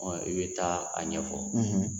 i bɛ taa a ɲɛfɔ.